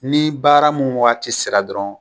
Ni baara mun wagati sira dɔrɔn